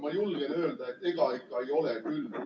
Ma julgen öelda, et ega ikka ei ole küll.